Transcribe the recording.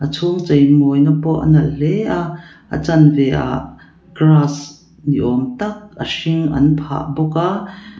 a chhung chei mawina pawh a nalh hle a a chanve ah grass ni awm tak a hring an phah bawk a.